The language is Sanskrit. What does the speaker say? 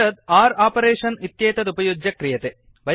एतत् आर् आपरेषन् इत्येतत् उपयुज्य क्रियते